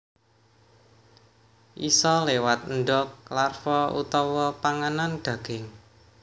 Isa léwat endog larva utawa panganan daging